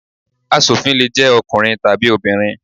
Asòfin le jẹ́ ọkùnrin tàbí obìnrin.